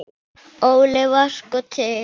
Óli var sko til.